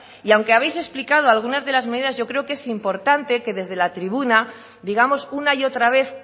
y aunque habéis explicado algunas de las medidas yo creo que es importante que desde la tribuna digamos una y otra vez